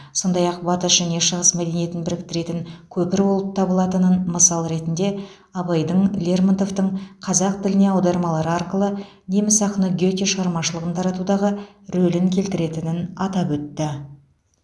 сондай ақ батыс және шығыс мәдениетін біріктіретін көпір болып табылатынын мысал ретінде абайдың лермонтовтың қазақ тіліне аудармалары арқылы неміс ақыны гете шығармашылығын таратудағы рөлін келтіретінін атап өтті